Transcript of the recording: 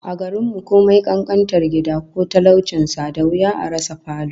A garin mu, komai kankantar gida ko talaucin sa, da wuya a rasa falo